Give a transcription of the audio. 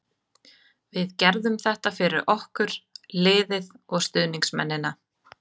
Við gerðum þetta fyrir okkur, liðið og stuðningsmennina.